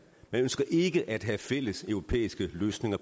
man ønsker ikke at have fælles europæiske løsninger